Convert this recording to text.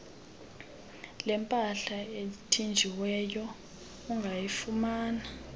lempahla ethinjiweyo ungayifumana